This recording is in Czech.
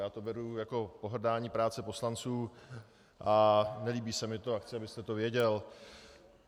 Já to beru jako pohrdání prací poslanců a nelíbí se mi to a chci, abyste to věděl.